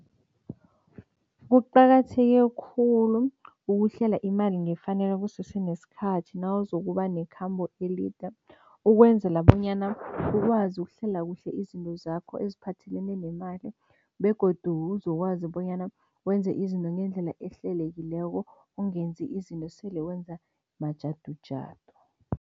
Kuqakatheke khulu ukuhlela imali ngefanelo kusese nesikhathi nawuzokuba nekhambo elide ukwenzela bonyana ukwazi ukuhlela kuhle izinto zakho eziphathelene nemali begodu uzokwazi bonyana wenze izinto ngendlela ehlelekileko, ungenzi izinto sele wenza majadujadu.